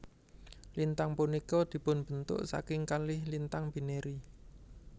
Lintang punika dipunbentuk saking kalih lintang binary